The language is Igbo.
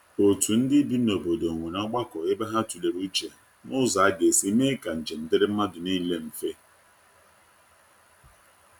otu ndi bị n'obodo nwere ogbako ebe ha tulere uche n'ụzọ aga esi mee ka njem diri madu nile mfe.